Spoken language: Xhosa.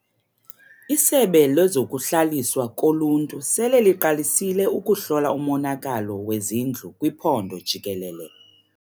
Isebe lezokuHlaliswa koLuntu sele liqalisile ukuhlola umonakalo wezindlu kwiphondo jikelele.